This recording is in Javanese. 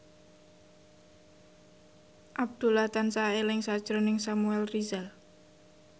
Abdullah tansah eling sakjroning Samuel Rizal